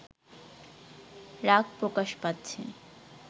রাগ প্রকাশ পাচ্ছে